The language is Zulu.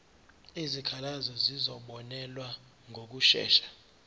izikhalazo zizobonelelwa ngokushesha